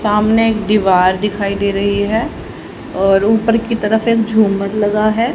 सामने एक दीवार दिखाई दे रही है और ऊपर की तरफ एक झूमर लगा है।